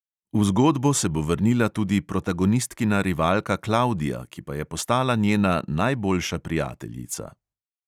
V zgodbo se bo vrnila tudi protagonistkina rivalka klavdija, ki pa je postala njena najboljša prijateljica.